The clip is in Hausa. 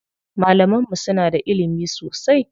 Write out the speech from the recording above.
Malaman mu suna da ilimi sosai.